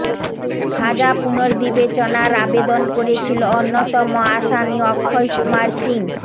সাজা পুনর্বিবেচনার আবেদন করেছিল অন্যতম আসামি অক্ষয় কুমার সিং